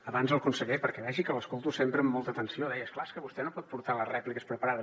abans el conseller perquè vegi que l’escolto sempre amb molta atenció deia és clar és que vostè no pot portar les rèpliques preparades